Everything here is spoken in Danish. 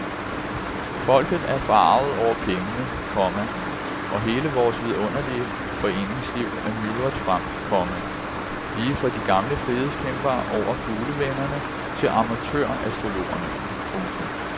Folket er forarget over pengene, komma og hele vores vidunderlige foreningsliv er myldret frem, komma lige fra de gamle frihedskæmpere over fuglevennerne til amatørastrologerne. punktum